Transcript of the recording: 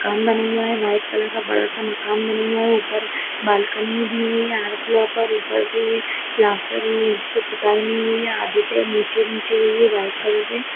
मकान बना हुआ है वाइट कलर का बड़ा सा मकान बना हुआ है ऊपर बालकोनी दी हुई हर फ्लोर पे ऊपर से ये प्लास्टर नई हुई है नीचे-नीचे हुई है वाइट कलर से।